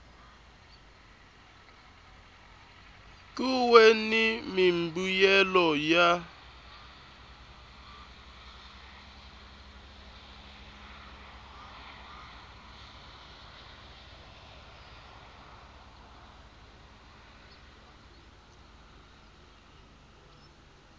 kun we ni mimbuyelo ya